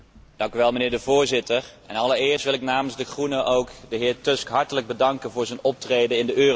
Voorzitter, allereerst wil ik namens de Groenen de heer Tusk hartelijk bedanken voor zijn optreden in de eurocrisis.